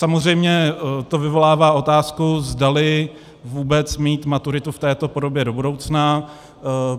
Samozřejmě to vyvolává otázku, zdali vůbec mít maturitu v této podobě do budoucna.